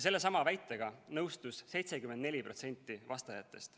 Sellesama väitega nõustus 74% vastajatest.